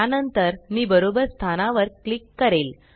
त्या नंतर मी बरोबर स्थानावर क्लिक करेल